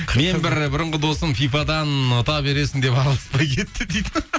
мен бір бұрынғы досым фифадан ұта бересің деп араласпай кетті дейді